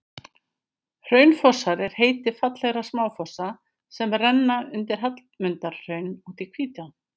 hraunfossar er heiti fallegra smáfossa sem renna undan hallmundarhrauni út í hvítá